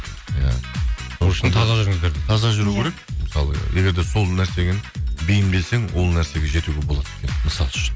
иә таза жүру керек мысалы егер де сол нәрсемен бейімделсең ол нәрсеге жетуге болады екен мысалы үшін